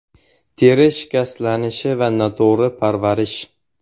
Teri shikastlanishi va noto‘g‘ri parvarish.